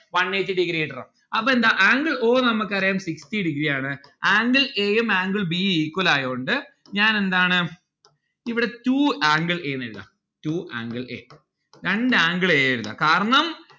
one eight degree കിട്ടണം. അപ്പൊ എന്താ angle o നമ്മക്കറിയാം sixty degree ആണ്. angle a യും angle b യും equal ആയോണ്ട് ഞാൻ എന്താണ് ഇവിടെ two angle a എഴുതാം two angle a രണ്ട് angle a എഴുതാം കാരണം